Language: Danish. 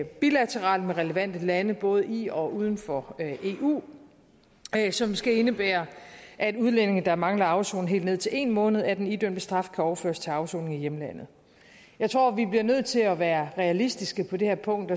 bilateralt med relevante lande både i og uden for eu som skal indebære at udlændinge der mangler at afsone helt ned til en måned af den idømte straf kan overføres til afsoning i hjemlandet jeg tror at vi bliver nødt til at være realistiske på det her punkt